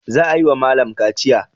Za a yi wa malam kaciya.